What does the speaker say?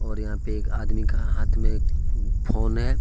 और यहां पे एक आदमी का हाथ में फोन है।